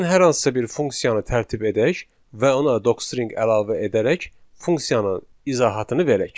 Gəlin hər hansısa bir funksiyanı tərtib edək və ona Docstring əlavə edərək funksiyanın izahatını verək.